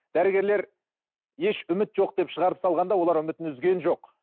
дәрігерлер еш үміт жоқ деп шығарып салғанда олар үмітін үзген жоқ